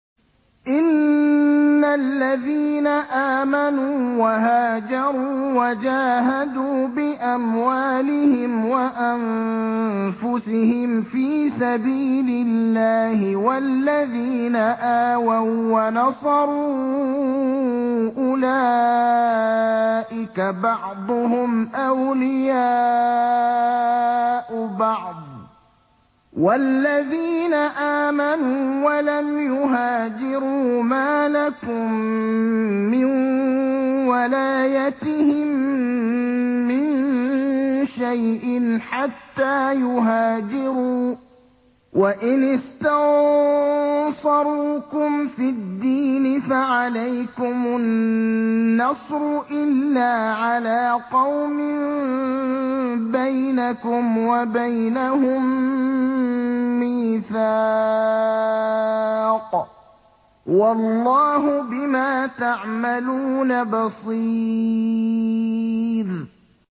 إِنَّ الَّذِينَ آمَنُوا وَهَاجَرُوا وَجَاهَدُوا بِأَمْوَالِهِمْ وَأَنفُسِهِمْ فِي سَبِيلِ اللَّهِ وَالَّذِينَ آوَوا وَّنَصَرُوا أُولَٰئِكَ بَعْضُهُمْ أَوْلِيَاءُ بَعْضٍ ۚ وَالَّذِينَ آمَنُوا وَلَمْ يُهَاجِرُوا مَا لَكُم مِّن وَلَايَتِهِم مِّن شَيْءٍ حَتَّىٰ يُهَاجِرُوا ۚ وَإِنِ اسْتَنصَرُوكُمْ فِي الدِّينِ فَعَلَيْكُمُ النَّصْرُ إِلَّا عَلَىٰ قَوْمٍ بَيْنَكُمْ وَبَيْنَهُم مِّيثَاقٌ ۗ وَاللَّهُ بِمَا تَعْمَلُونَ بَصِيرٌ